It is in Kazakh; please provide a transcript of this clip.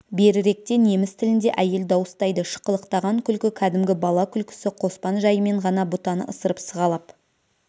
беріректе неміс тілінде әйел дауыстайды шықылықтаған күлкі кәдімгі бала күлкісі қоспан жайымен ғана бұтаны ысырып сығалап